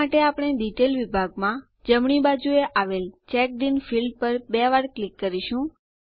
આ માટે આપણે ડિટેલ વિભાગમાં જમણી બાજુએ આવેલ ચેકડિન ફીલ્ડ પર બે વાર ક્લિક કરીશું